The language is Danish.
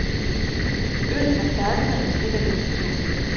Øllen er perlende og stikker lidt på tungen.